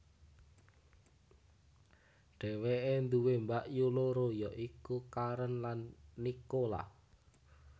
Dheweke duwé mbakyu loro ya iku Karen lan Nicola